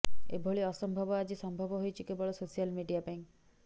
ଏଭଳି ଅସମ୍ଭବ ଆଜି ସମ୍ଭବ ହୋଇଛି କେବଳ ସୋସିଆଲ ମିଡିଆପାଇଁ